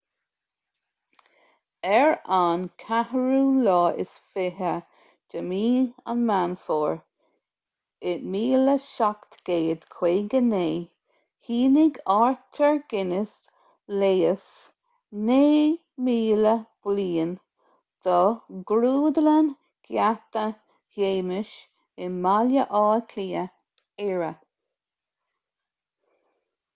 ar an 24 meán fómhair 1759 shínigh arthur guinness léas 9,000 bliain do ghrúdlann gheata shéamais i mbaile átha cliath éire